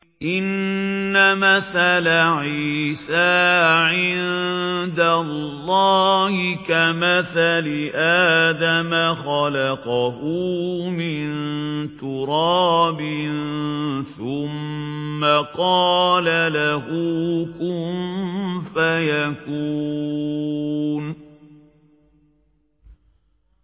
إِنَّ مَثَلَ عِيسَىٰ عِندَ اللَّهِ كَمَثَلِ آدَمَ ۖ خَلَقَهُ مِن تُرَابٍ ثُمَّ قَالَ لَهُ كُن فَيَكُونُ